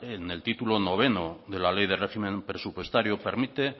en el titulo noveno de la ley de régimen presupuestario permite